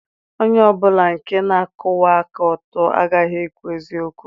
Onye ọ bụla nke na-akwụwa aka ọtọ aghaghị ikwu eziokwu.